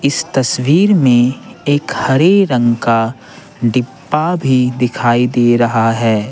इस तस्वीर में एक हरे रंग का डिब्बा भी दिखाई दे रहा है।